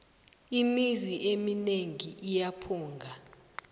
imizi emineng iyaphunga